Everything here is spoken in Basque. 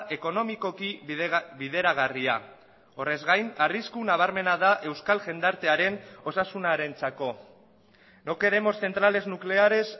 ekonomikoki bideragarria horrez gain arrisku nabarmena da euskal jendartearen osasunarentzako no queremos centrales nucleares